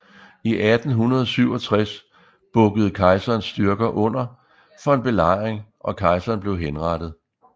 I 1867 bukkede kejserens styrker under for en belejring og kejseren blev henrettet